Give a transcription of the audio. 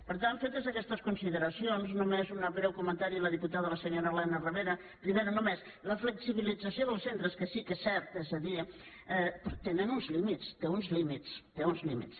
per tant fetes aquestes consideracions només un breu comentari a la diputada a la senyora elena ribera només la flexibilització dels centres que sí que és cert és a dir tenen uns límits té uns límits té uns límits